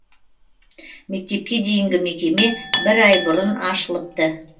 мектепке дейінгі мекеме бір ай бұрын ашылыпты